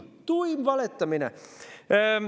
Tuim valetamine!